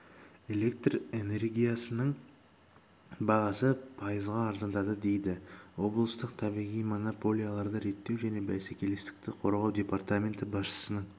электр энергиясының бағасы пайызға арзандады дейді облыстық табиғи монополияларды реттеу және бәсекелестікті қорғау департаменті басшысының